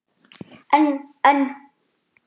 En. en.